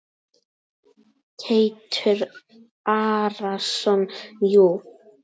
Teitur Arason: Jú.